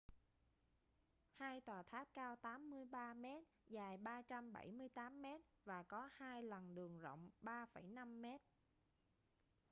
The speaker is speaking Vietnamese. hai tòa tháp cao 83 mét dài 378 mét và có hai lằn đường rộng 3,5 mét